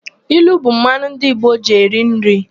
Ilu bụ mmanụ ndị Igbo ji eri nri.